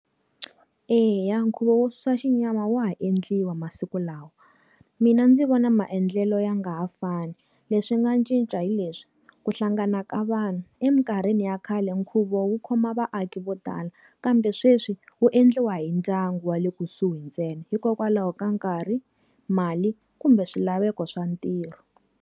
Eya nkhuvo wo susa xinyama wa ha endliwa masiku lawa. Mina ndzi vona maendlelo ya nga ha fani leswi nga cinca hi leswi. Ku hlangana ka vanhu. Eminkarhini ya khale nkhuvo wu khoma vaaki vo tala kambe sweswi, wu endliwa hi ndyangu wa le kusuhi ntsena. Hikokwalaho ka nkarhi, mali, kumbe swilaveko swa ntirho.